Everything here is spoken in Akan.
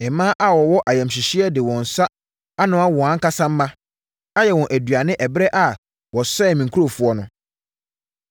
Mmaa a wɔwɔ ayamhyehyeɛ de wɔn nsa anoa wɔn ankasa mma, ayɛ wɔn aduane ɛberɛ a wɔsɛee me nkurɔfoɔ no.